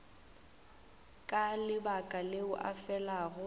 ka lebaka leo o felago